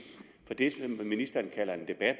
med det ministeren kalder en debat